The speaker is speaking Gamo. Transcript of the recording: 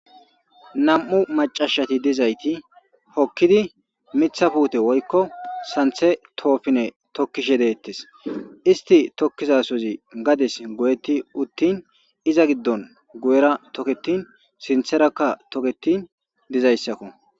nam7u macashati dizayti hokkidi mitha puute woykko santhe toofine tokkishe deettes isti tokkizasozi gades goyetti uttin iza giddon gu7era toketin sintherakka toketin dizayssakko